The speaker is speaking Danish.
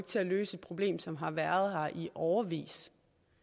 til at løse et problem som har været her i årevis